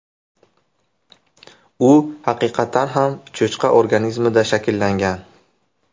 U haqiqatan ham cho‘chqa organizmida shakllangan.